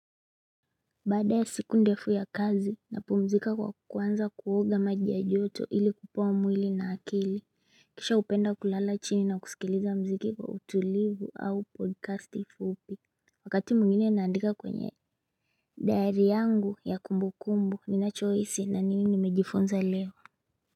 Baada ya siku ndefu ya kazi napumzika kwa kwanza kuoga maji ya joto ili kupoa mwili na akili kisha hupenda kulala chini na kusikiliza mziki kwa utulivu au podcast fupi wakati mwingine naandika kwenye diary yangu ya kumbukumbu ninachohisi na ni nini nimejifunza leo.